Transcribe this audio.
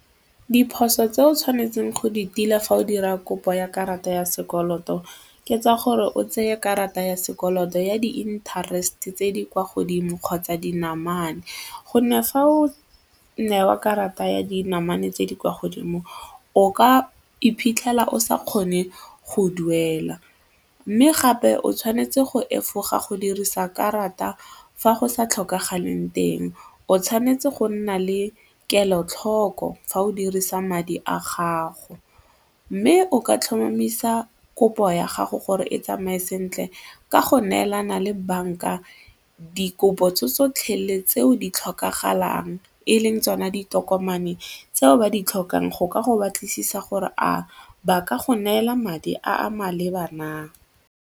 Diphoso tse o tshwanetseng go di tila fa o dira kopo ya karata ya sekoloto ke tsa gore o tseye karata ya sekoloto ya di-interest tse di kwa godimo kgotsa dinamane gonne fa o newa karata ya dinamane tse di kwa godimo o ka iphitlhela o sa kgone go duela mme gape o tshwanetse go efoga go dirisa karata fa go sa tlhokagaleng teng, o tshwanetse go nna le kelotlhoko fa o dirisa madi a gago mme o ka tlhomamisa kopo ya gago gore e tsamaye sentle ka go neelana le banka dikopo tse tsotlhe le tseo di tlhokagalang e leng tsona ditokomane tseo ba di tlhokang go ka go batlisisa gore a ba ka go neela madi a maleba na?